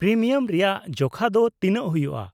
-Premium ᱨᱮᱭᱟᱜ ᱡᱚᱠᱷᱟ ᱫᱚ ᱛᱤᱱᱟᱹᱜ ᱦᱩᱭᱩᱜᱼᱟ ?